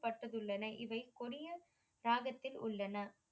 பட்டதுள்ளன இவை கொடிய ராகத்தில் உள்ளன.